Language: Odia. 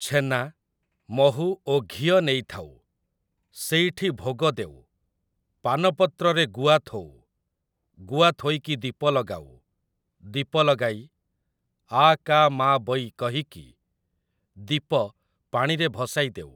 ଛେନା, ମହୁ ଓ ଘିଅ ନେଇଥାଉ, ସେଇଠି ଭୋଗ ଦେଉ, ପାନପତ୍ରରେ ଗୁଆ ଥୋଉ, ଗୁଆ ଥୋଇକି ଦୀପ ଲଗାଉ, ଦୀପ ଲଗାଇ 'ଆ କା ମା ବୈ' କହିକି ଦୀପ ପାଣିରେ ଭସାଇଦେଉ ।